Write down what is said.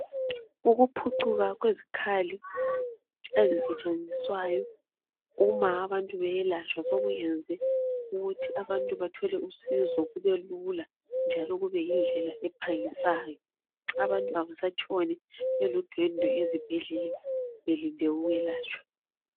Ukuphucuka kwezikhali ezisetshenziswayo, uma abantu beyelatshwa, sokuyenze ukuthi abantu bathole usizo, kubelula, njalo kubeyindlela ephangisayo. Abantu kabasatshoni beludwendwe ezibhedlela belinde ukwelatshwa.